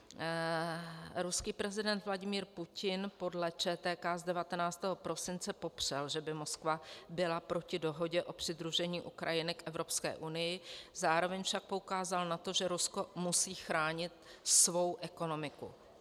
Ruský prezident Vladimír Putin podle ČTK z 19. prosince popřel, že by Moskva byla proti dohodě o přidružení Ukrajiny k Evropské unii, zároveň však poukázal na to, že Rusko musí chránit svou ekonomiku.